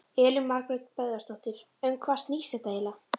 Elín Margrét Böðvarsdóttir: Um hvað snýst þetta eiginlega?